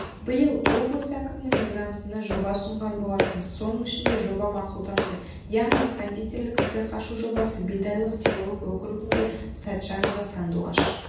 биыл облыс әкімінің грантына жоба ұсынған болатынбыз соның ішінде жоба мақұлданды яғни кондитерлік цех ашу жобасы бидайық селолық округінде сәтжанова сандуғаш